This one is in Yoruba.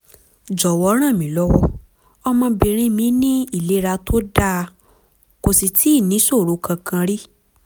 jọ̀wọ́ rànmílọ́wọ́; ọmọbìnrin mi ní ìlera tó dáa kò sì tíì níṣòro kankan rí